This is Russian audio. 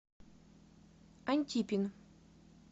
антипин